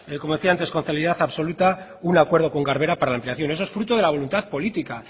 como decía antes con celeridad absoluta un acuerdo con garbera para la ampliación eso es fruto de la voluntad política